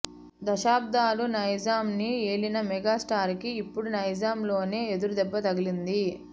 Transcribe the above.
దశబ్దాలు నైజాంని ఏలిన మెగాస్టార్ కి ఇప్పుడు నైజాంలోనే ఎదురుదెబ్బ తగిలింది